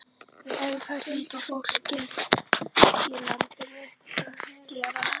En það hlýtur fólkið í landinu að gera.